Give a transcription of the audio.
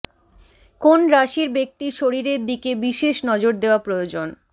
কোন রাশির ব্যক্তির শরীরের দিকে বিশেষ নজর দেওয়া প্রয়োজন